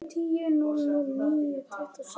Skýst svo aftur upp í rúm.